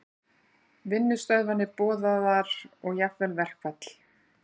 Vinnustöðvanir boðaðar og jafnvel verkfall